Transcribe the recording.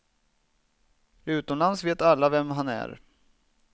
Utomlands vet alla vem han är.